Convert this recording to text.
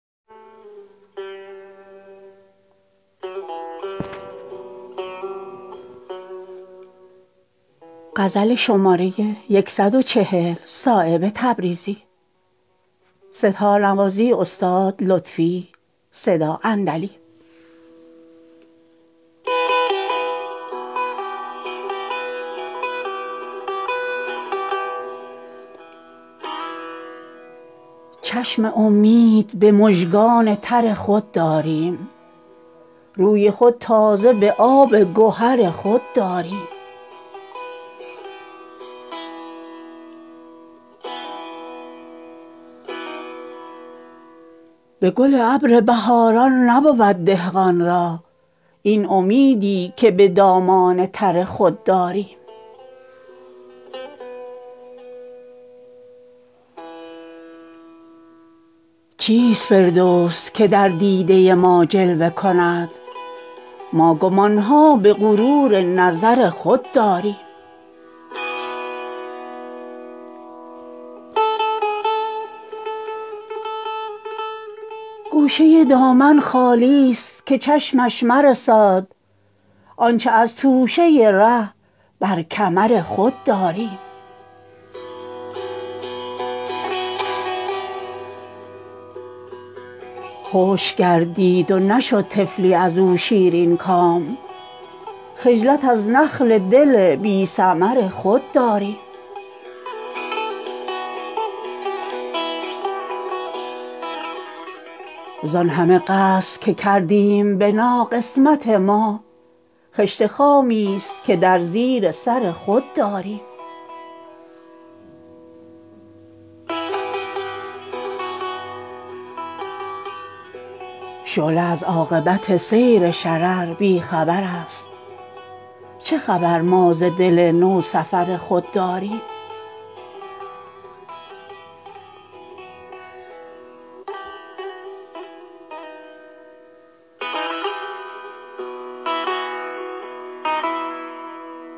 چشم امید به مژگان تر خود داریم روی خود تازه به آب گهر خود داریم صحبت ما به نگهبانی دم می گذرد تیغ بر کف همه جا پشت سر خود داریم منت پرتو خورشید و پر کاه یکی است ما که شمعی چو فروغ گهر خود داریم به گل ابر بهاران نبود دهقان را این امیدی که به دامان تر خود داریم نیست بر ناخن ما نقش در آزاری مور هر چه داریم به لخت جگر خود داریم قاصد و نامه نباشد سفر عنقا را گوش بیهوده به راه خبر خود داریم چیست فردوس که در دیده ما جلوه کند ما گمانها به غرور نظر خود داریم گوشه دامن خالی است که چشمش مرساد آنچه از توشه ره بر کمر خود داریم ما و اندیشه دستار خدا نپسندد به سر دوست اگر فکر سر خود داریم از عنانداری برق آبله زد دست سحاب چون عنان دل عاشق سفر خود داریم خشک گردید و نشد طفلی ازو شیرین کام خجلت از نخل دل بی ثمر خود داریم زانهمه قصر که کردیم بنا قسمت ما خشت خامی است که در زیر سر خود داریم خضر این بادیه دنبال خبر می گردد چه خبر ما ز دل بیخبر خود داریم پایه حسن توسهل است گر از ماه گذشت بیش از ین فیض گمان با نظر خود داریم شعله از عاقبت سیر شرر بیخبرست چه خبر ما ز دل نو سفر خود داریم از غباری که ربودیم ز جولانگاهش منت روی زمین بر نظر خود داریم صایب آن روز سیه باد که روشن سازیم برق آهی که نهان در جگر خود داریم